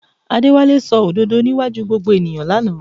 Adéwálé sọ òdodo níwájú gbogbo ènìyàn lánàá